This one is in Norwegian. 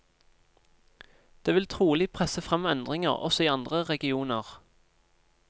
Det vil trolig presse frem endringer også i andre regioner.